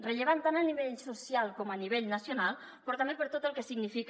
rellevant tant a nivell social com a nivell nacional però també per tot el que significa